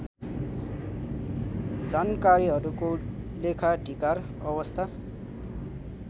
जानकारीहरुको लेखाधिकार अवस्था